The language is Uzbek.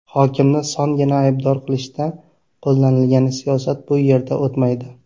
Hokimni songina aybdor qilishda qo‘llanilgan siyosat bu yerda o‘tmaydi.